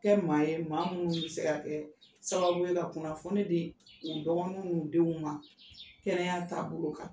Kɛ maa ye maa minnu bɛ se ka kɛ sababu ye ka kunnafoni di u dɔgɔninw n'u denw ma kɛnɛya taabolo kan.